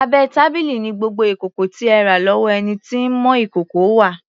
Abẹ́ tábìlì ni gbogbo ìkòkò tí ẹ rà lọ́wọ́ ẹni tí ń mọ ìkòkò wà.